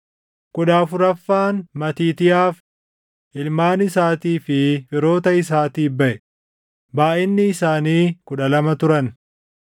kudha afuraffaan Matiitiyaaf, // ilmaan isaatii fi firoota isaatiif baʼe; // baayʼinni isaanii kudha lama turan